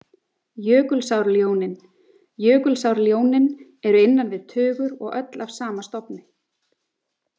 Jökulsárljónin Jökulsárljónin eru innan við tugur og öll af sama stofni.